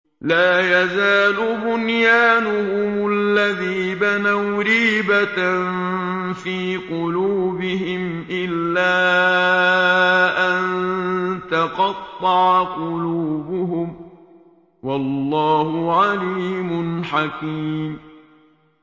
لَا يَزَالُ بُنْيَانُهُمُ الَّذِي بَنَوْا رِيبَةً فِي قُلُوبِهِمْ إِلَّا أَن تَقَطَّعَ قُلُوبُهُمْ ۗ وَاللَّهُ عَلِيمٌ حَكِيمٌ